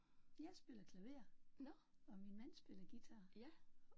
Jeg spiller klaver og min mand spiller guitar